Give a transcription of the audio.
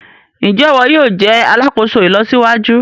Njé iwọ yóò jé alàkóso ìlọsíwájú?